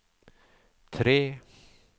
tre